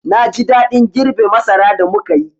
Na ji daɗin girbe masara da muka yi.